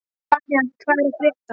Valíant, hvað er að frétta?